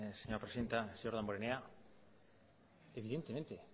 señora presidenta señor damborenea evidentemente